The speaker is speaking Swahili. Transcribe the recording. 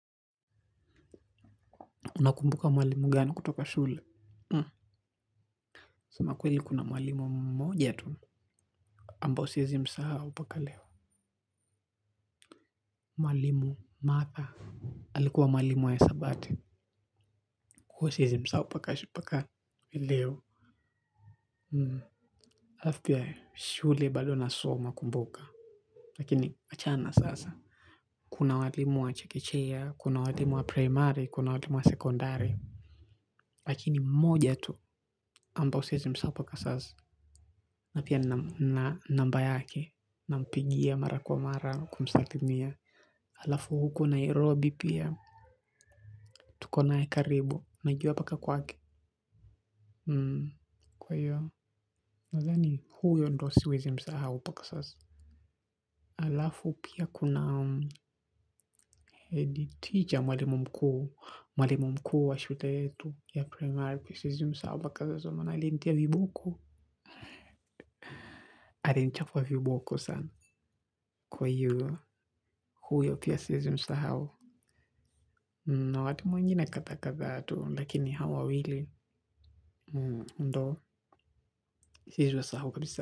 Unakumbuka mwalimu gani kutoka shule? Hum. Sema kweli kuna mwalimu mmoja tu. Ambao siwezi msahau mpaka leo. Mwalimu. Martha. Alikuwa mwalimu wa hisabati. Kwahiyo siwezi msahau mpaka mpaka. Leo alafu pia shule bado nasoma kumbuka. Lakini achana na sasa. Kuna walimu wa chekechea. Kuna walimu wa primary. Kuna walimu wa secondary. Lakini mmoja tu. Ambao siwezi msahau mpaka sasa. Na pia nina namba yake. Na mpigia mara kwa mara kumsalimia halafu huku nairobi pia tuko nae karibu najua mpaka kwake kwahiyo nadhani huyo ndio siwezi msahau mpaka sasa halafu pia kuna head teacher mwalimu mkuu, mwalimu mkuu wa shule yetu ya primary siwezi msahau mpaka sasa kwa maana alinitia viboko alinichapa viboko sana kwahiyo huyo pia siwezi msahau na watu wengine kadhaa kadhaa tu lakini hao wawili ndio siwezi wasahau kabisa.